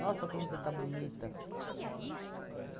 Nossa, como você está bonita.